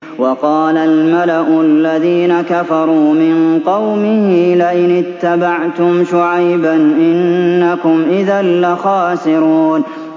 وَقَالَ الْمَلَأُ الَّذِينَ كَفَرُوا مِن قَوْمِهِ لَئِنِ اتَّبَعْتُمْ شُعَيْبًا إِنَّكُمْ إِذًا لَّخَاسِرُونَ